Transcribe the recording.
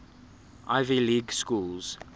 ivy league schools